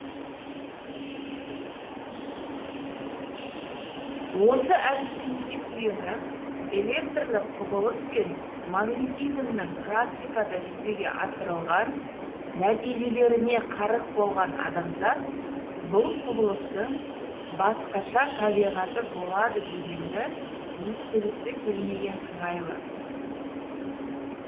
осы әдістемеге сүйеніп электрлік құбылыс пен магнитизмнің практикада жүзеге асырылған нәтижелеріне қарық болған адамзат бұл құбылыстың басқаша табиғаты болады дегенді естігісі келмеген сыңайлы